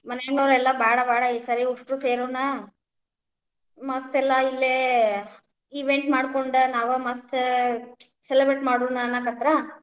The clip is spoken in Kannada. ಮನ್ಯಾನೌರೆಲ್ಲಾ ಬ್ಯಾಡ್ ಬ್ಯಾಡಾ ಈ ಸರೆ ಉಷ್ಟೂರು ಸೇರೋಣ ಮತ್ತೆಲ್ಲಾ ಇಲ್ಲೇ, event ಮಾಡ್ಕೊಂಡ ನಾವ ಮಸ್ತ್ celebrate ಮಾಡೋಣ ಅನ್ನಾಕತ್ರ್.